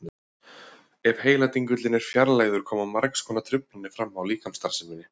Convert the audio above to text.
Ef heiladingullinn er fjarlægður koma margs konar truflanir fram á líkamsstarfseminni.